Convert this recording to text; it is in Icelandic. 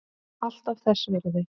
Alltaf þess virði.